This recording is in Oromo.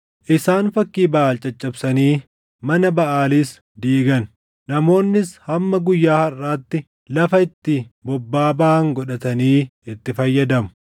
Isaan fakkii Baʼaal caccabsanii mana Baʼaalis diigan. Namoonnis hamma guyyaa harʼaatti lafa itti bobbaa baʼan godhatanii itti fayyadamu.